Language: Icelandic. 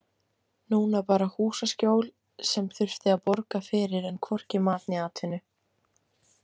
Núna bara húsaskjól sem þurfti að borga fyrir en hvorki mat né atvinnu.